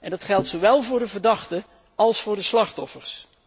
Dat geldt zowel voor de verdachten als voor de slachtoffers.